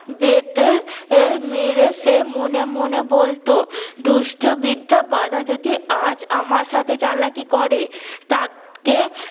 বেতে এ মেরে সে মনে মনে বলতো দুষ্ট বিদ্যা গাধা যদি আজ আমার সাথে চালাকি করে তাকে